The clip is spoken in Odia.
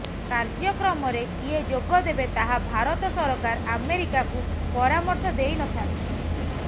କାର୍ଯ୍ୟକ୍ରମରେ କିଏ ଯୋଗଦେବେ ତାହା ଭାରତ ସରକାର ଆମେରିକାକୁ ପରାମର୍ଶ ଦେଇ ନ ଥାନ୍ତି